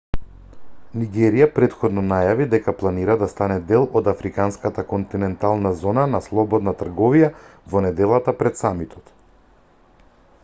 нигерија претходно најави дека планира да стане дел од африканската континентална зона на слободна трговија во неделата пред самитот